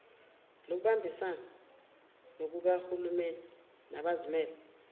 lokubambisana kukahulumeni nabazimele